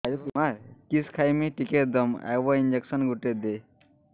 କିସ ଖାଇମି ଟିକେ ଦମ୍ଭ ଆଇବ ଇଞ୍ଜେକସନ ଗୁଟେ ଦେ